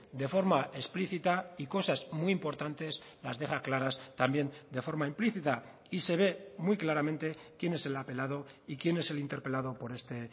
de forma explícita y cosas muy importantes las deja claras también de forma implícita y se ve muy claramente quien es el apelado y quién es el interpelado por este